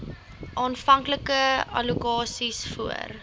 aanvanklike allokasies voor